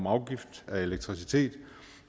åbnet